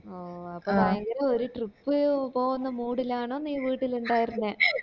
ഓഹ് ഭയങ്കര ഒരു trip പോവന്ന mood ലാണോ നീ വീട്ടില് ഇണ്ടായിരുന്നെ